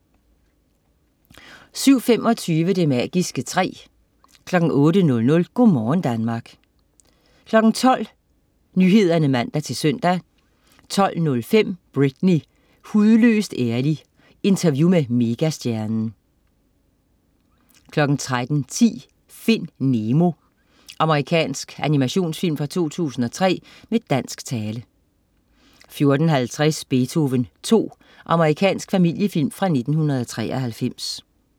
07.25 Det magiske træ 08.00 Go' morgen Danmark 12.00 Nyhederne (man-søn) 12.05 Britney. Hudløst ærlig. Interview med megastjernen 13.10 Find Nemo. Amerikansk animationsfilm fra 2003 med dansk tale 14.50 Beethoven 2. Amerikansk familiefilm fra 1993